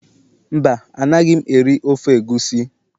Mba, Anaghị m eri ofe egusi